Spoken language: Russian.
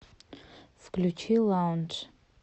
включи лаундж